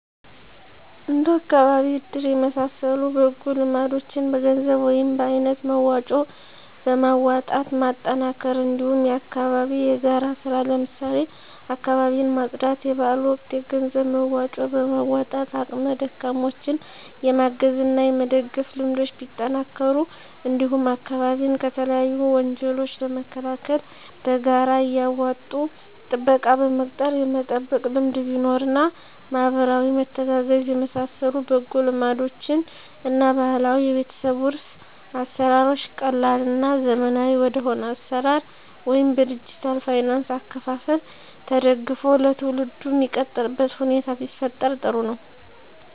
እንደ አካባቢ እድር የመሳሰሉ በጎ ልማዶችን በገንዘብ ወይም በአይነት መዋጮ በማዋጣት ማጠናከር እንዲሁም የአካባቢ የጋራ ስራ ለምሳሌ አካባቢን ማፅዳት; የበአል ወቅት የገንዘብ መዋጮ በማዋጣት አቅመ ደካማዎችን የማገዝ እና የመደገፍ ልምዶች ቢጠናከሩ እንዲሁም አካባቢን ከተለያዩ ወንጀሎች ለመከላከል በጋራ እያዋጡ ጥበቃ በመቅጠር የመጠበቅ ልምድ ቢኖር እና ማህበራዊ መተጋገዝ የመሳሰሉ በጎ ልማዶችን እና ባህላዊ የቤተሰብ ዉርስ አሰራሮች ቀላል እና ዘመናዊ ወደሆነ አሰራር ወይም በዲጅታል ፋይናንስ አከፋፈል ተደግፎ ለትውልዱ ሚቀጥልበት ሁኔታ ቢፈጠር ጥሩ ነው።